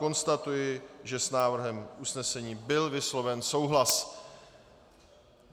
Konstatuji, že s návrhem usnesení byl vysloven souhlas.